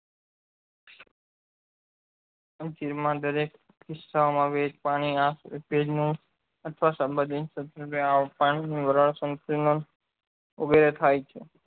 જીવ માં દરેક આવે એ જ પાણી આં પાણી ની વરાળ સંતુલન વગેરે થાય છે